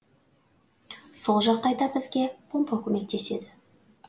сол жағдайда бізге помпа көмектеседі